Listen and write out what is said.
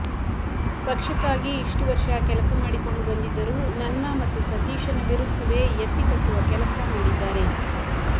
ಪಕ್ಷಕ್ಕಾಗಿ ಇಷ್ಟು ವರ್ಷ ಕೆಲಸ ಮಾಡಿಕೊಂಡು ಬಂದಿದ್ದರೂ ನನ್ನ ಮತ್ತು ಸತೀಶನ ವಿರುದ್ಧವೇ ಎತ್ತಿ ಕಟ್ಟುವ ಕೆಲಸ ಮಾಡಿದ್ದಾರೆ